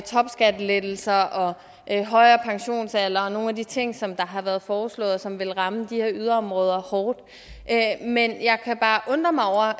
topskattelettelser højere pensionsalder og nogle af de andre ting som har været foreslået og som vil ramme de her yderområder hårdt men jeg kan bare undre mig over